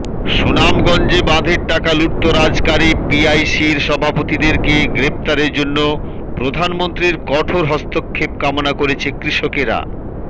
সুনামগঞ্জে বাঁধের টাকা লুটতরাজকারী পিআইসির সভাপতিদেরকে গ্রেফতারের জন্য প্রধানমন্ত্রীর কঠোর হস্তক্ষেপ কামনা করেছে কৃষকেরা